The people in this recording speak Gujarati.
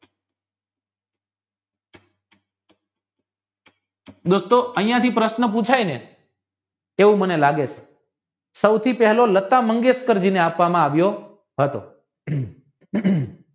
દોસ્તો હિતાથી જો પ્રશ્ન પુછાય ને એવું મને લાગે છે સુધી પહેલો લતા મંગેશકરજી ને આપવમાં આવ્યો હતો